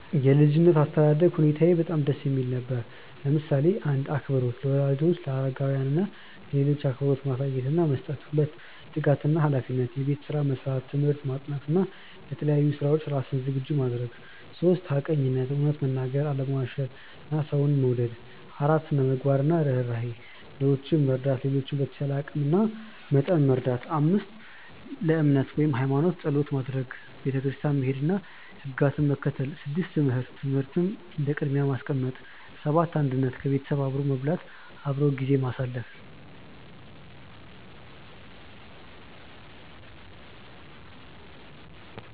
የ ልጅነት አስተዳደግ ሁኔታየ በጣም ደስ የሚል ነበር፣ ለምሳሌ :- 1. አክብሮት - ለወላጆች፣ ለአረጋውያን እና ለሌሎች አክብሮት ማሳየት እና መስጠት 2· ትጋት እና ሃላፊነት - የቤት ስራ መስራት፣ ትምህርት ማጥናት እና ለተለያዩ ስራዎች ራስን ዝግጁ ማድረግ 3· ሐቀኝነት - እውነት መናገር፣ አለመዋሸት እና ሰውን መውደድ 4· ስነ -ምግባር እና ርህራሄ - ድሆችን መርዳት፣ ሌሎችን በተቻለ አቂም እና መጠን መርዳት 5· እምነት (ሃይማኖት) - ጸሎት ማድረግ፣ ቤተክርስቲያን መሄድ እና ሕግጋትን መከተል 6· ትምህርት - ትምህርትን እንደ ቅድሚያ ማስቀመጥ 7· አንድነት - ቤተሰብ አብሮ መብላት፣ አብሮ ጊዜ ማሳለፍ